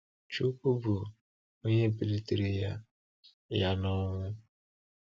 Chúkwú bụ́ Onye bilitere Ya Ya n’ọnwụ.